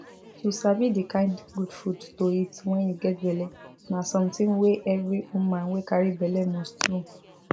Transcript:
to sabi the kind good food to eat wen u get belle na something wey every woman wey carry belle must know